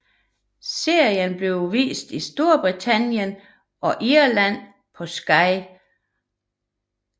Serien bliver vist i Storbritannien og Irland på Sky1